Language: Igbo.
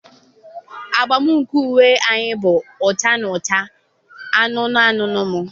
agba nke uwe anyị bụ ọcha na acha anụnụ anụnụ m.